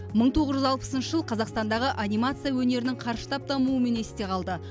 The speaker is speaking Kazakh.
мың тоғыз жүз алпысыншы жылы қазақстандағы анимация өнерінің қарыштап дамуымен есте қалды